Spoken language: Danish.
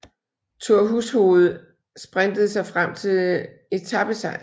Thor Hushovd sprintede sig frem til etapesejr